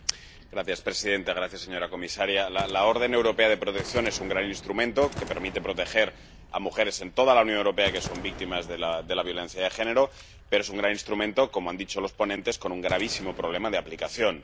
Señora presidenta, señora comisaria, la orden europea de protección es un gran instrumento, que permite proteger a mujeres en toda la Unión Europea que son víctimas de la violencia de género, pero es un gran instrumento, como han dicho los ponentes, con un gravísimo problema de aplicación.